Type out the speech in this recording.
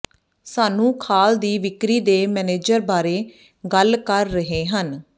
ਸਾਨੂੰ ਖਾਲ ਦੀ ਵਿਕਰੀ ਦੇ ਮੈਨੇਜਰ ਬਾਰੇ ਗੱਲ ਕਰ ਰਹੇ ਹਨ